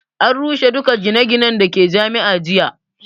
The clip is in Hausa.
An rushe duka gine ginen da ke Jami'a jiya